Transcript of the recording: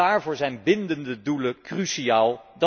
En daarvoor zijn bindende doelen cruciaal.